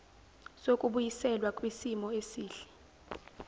sokubuyiselwa kwisimo esihle